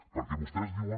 perquè vostès diuen